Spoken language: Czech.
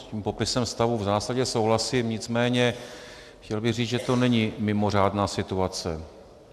S tím popisem stavu v zásadě souhlasím, nicméně chtěl bych říct, že to není mimořádná situace.